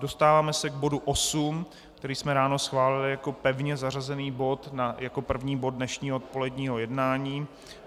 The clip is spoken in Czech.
Dostáváme se k bodu osm, který jsme ráno schválili jako pevně zařazený bod, jako první bod dnešního odpoledního jednání.